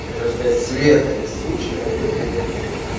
хотел сказать света не сучка обед приготовит